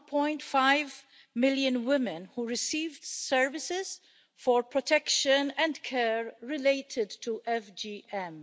1.5 million women, who received services for protection and care related to FGM.